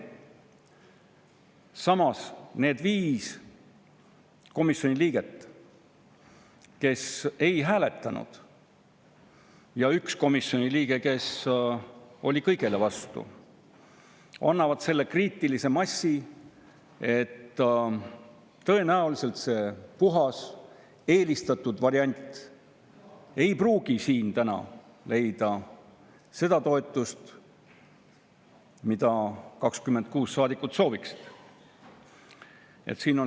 Samas, need 5 komisjoni liiget, kes ei hääletanud, ja 1 komisjoni liige, kes oli kõigele vastu, annavad selle kriitilise massi, see puhas eelistatud variant ei pruugi siin täna leida seda toetust, mida 26 saadikut sooviksid.